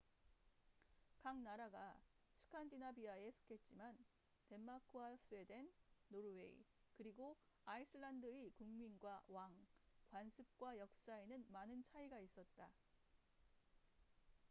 각 나라가 스칸디나비아'에 속했지만 덴마크와 스웨덴 노르웨이 그리고 아이슬란드의 국민과 왕 관습과 역사에는 많은 차이가 있었다